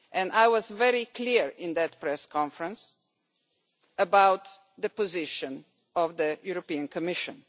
I was very clear in that press conference about the position of the Commission.